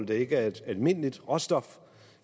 det ikke er et almindeligt råstof